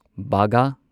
ꯕꯥꯒꯥ